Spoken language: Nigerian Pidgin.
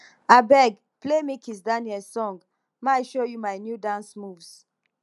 abeg play me kizz daniel song my show you my new dance moves